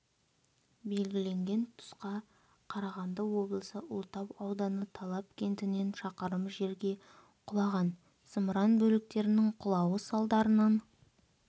белгіленген тұсқа қарағанды облысы ұлытау ауданы талап кентінен шақырым жерге құлаған зымыран бөліктерінің құлауы салдарынан